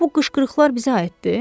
Bu qışqırıqlar bizə aiddir?